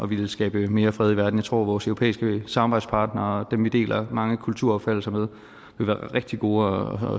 ville skabe mere fred i verden jeg tror vores europæiske samarbejdspartnere dem vi deler mange kulturopfattelser med vil være rigtig gode